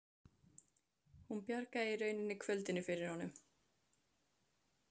Hún bjargaði í rauninni kvöldinu fyrir honum.